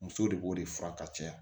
Muso de b'o de fura ka caya